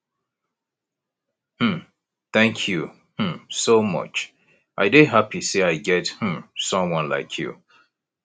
um thank you um so much i dey happy say i get um someone like you